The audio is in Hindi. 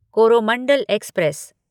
कोरोमंडल एक्सप्रेस